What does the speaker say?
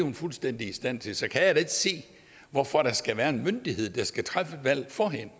er fuldstændig i stand til så kan jeg da ikke se hvorfor der skal være en myndighed der skal træffe valget for hende